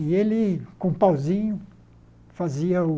E ele, com um pauzinho, fazia o...